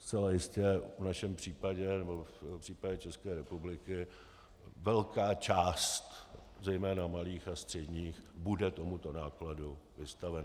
Zcela jistě v našem případě, nebo v případě České republiky, velká část zejména malých a středních bude tomuto nákladu vystavena.